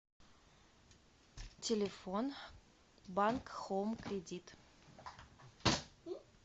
телефон банк хоум кредит